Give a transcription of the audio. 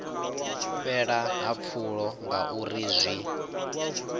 fhela ha pfulo ngauri zwi